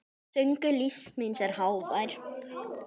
Söngur lífs míns er hávær.